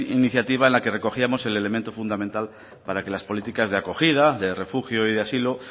iniciativa en la que recogíamos el elemento fundamental para que las políticas de acogida de refugio y de asilo